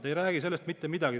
Te ei räägi sellest mitte midagi.